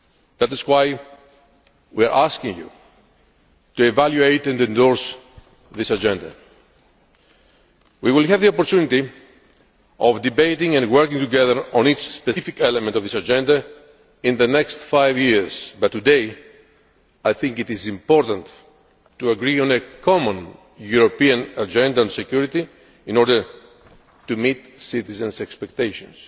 That is why we are asking you to evaluate and endorse this agenda. We will have the opportunity of debating and working together on each specific element of this Agenda in the next five years, but today I think it is important to agree on a common European Agenda on Security in order to meet citizens' expectations.